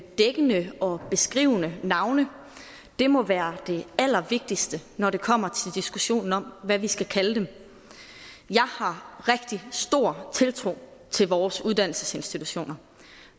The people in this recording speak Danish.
dækkende og beskrivende navne det må være det allervigtigste når det kommer til diskussionen om hvad vi skal kalde dem jeg har rigtig stor tiltro til vores uddannelsesinstitutioner